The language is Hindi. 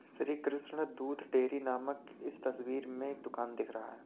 श्री कृष्णा दूध डेरी नामक इस तस्वीर में दुकान दिख रहा है।